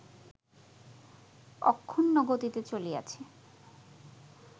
অক্ষুণ্ণ গতিতে চলিয়াছে